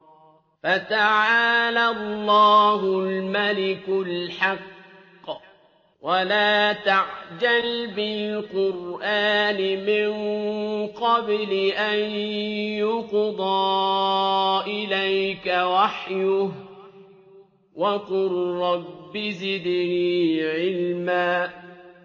فَتَعَالَى اللَّهُ الْمَلِكُ الْحَقُّ ۗ وَلَا تَعْجَلْ بِالْقُرْآنِ مِن قَبْلِ أَن يُقْضَىٰ إِلَيْكَ وَحْيُهُ ۖ وَقُل رَّبِّ زِدْنِي عِلْمًا